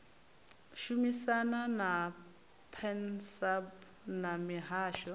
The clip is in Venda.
shumisana na pansalb na mihasho